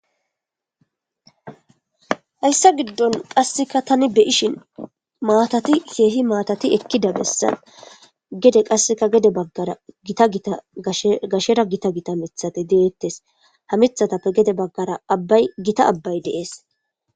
hayssa giddon qasseka tani beyishin maatati seehi maatati ekkida bessan gede qasseka gede baggara gita gita sgashshera gita gita mithate deeettes ha mithatappe gede baggara abbay gita abbay deees